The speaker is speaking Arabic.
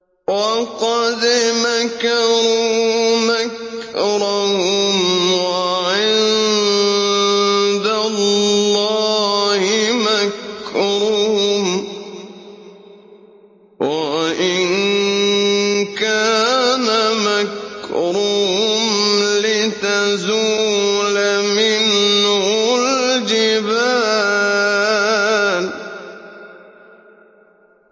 وَقَدْ مَكَرُوا مَكْرَهُمْ وَعِندَ اللَّهِ مَكْرُهُمْ وَإِن كَانَ مَكْرُهُمْ لِتَزُولَ مِنْهُ الْجِبَالُ